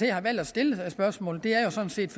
jeg har valgt at stille spørgsmålet er jo sådan set